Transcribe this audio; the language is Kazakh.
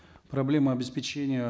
проблема обеспечения